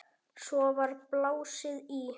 Svo var blásið í.